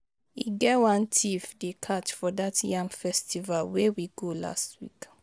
E get one thief dey catch for dat yam festival wey we go last week